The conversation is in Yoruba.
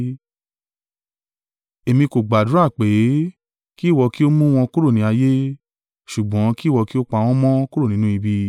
Èmi kò gbàdúrà pé, kí ìwọ kí ó mú wọn kúrò ní ayé, ṣùgbọ́n kí ìwọ kí ó pa wọ́n mọ́ kúrò nínú ibi.